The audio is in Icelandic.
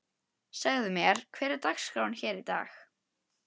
Segðu mér, hver er dagskráin hér í dag?